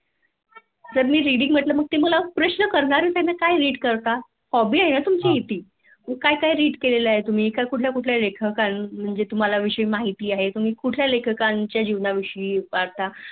जर मी Reading म्हटलं तर ते मला प्रश्न करणारच आहे ना काय Read करता? Hobby आहे ना तुमची ती मग काय काय Read केले आहे कुठल्या कुठल्या लेखकां विषयि माहिती आहे तुमहाला तुम्ही कुठल्या लेखकाच्या जीवन याविषयी